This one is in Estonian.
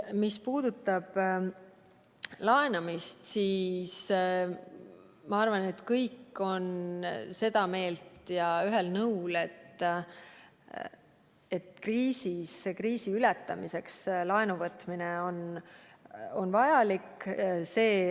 Mis puudutab laenamist, siis ma arvan, et kõik on seda meelt ja ühel nõul, et kriisi ületamiseks laenu võtmine on vajalik.